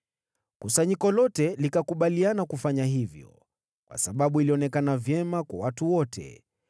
Kusanyiko lote likakubaliana kufanya hivyo, kwa sababu ilionekana vyema kwa watu wote.